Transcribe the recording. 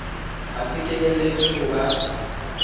ho sa kenyelletswe ho ba